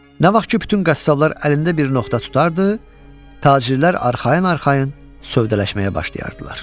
Nə vaxt ki bütün qəssablar əlində bir nöqtə tutardı, tacirlər arxayın-arxayın sövdələşməyə başlayardılar.